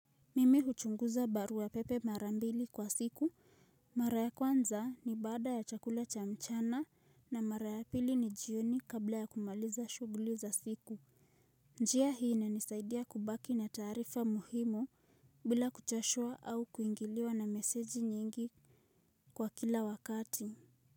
Mimi huchunguza barua pepe mara mbili kwa siku, mara ya kwanza ni baada ya chakula cha mchana na mara ya pili ni jioni kabla ya kumaliza shughuli za siku njia hii inanisaidia kubaki na taarifa muhimu bila kuchashua au kuingiliwa na meseji mingi kwa kila wakati.